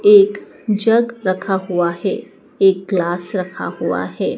एक जग रखा हुआ है एक ग्लास रखा हुआ है।